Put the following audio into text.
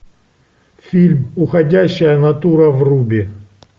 фильм уходящая натура в рубе